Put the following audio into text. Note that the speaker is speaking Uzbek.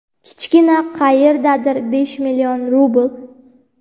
kichkina: qayerdadir besh million rubl.